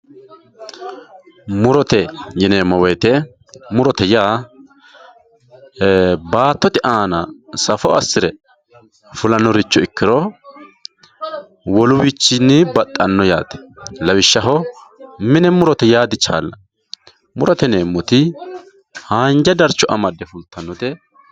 Murote yineemowoyite murote yaa baatote aana safo asire fulanoricho ikiro woliwichini baxano yaate lawishshaho mine murote yaa dichalani murote yineemoti haanja darcho amade fultanote.